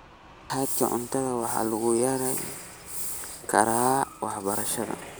Hadhaaga cuntada waxaa lagu yarayn karaa waxbarashada.